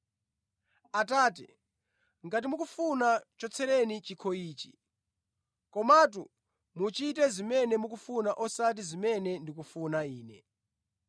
“Atate ngati mukufuna chotsereni chikho ichi. Komatu muchite zimene mukufuna osati zimene ndikufuna ine.”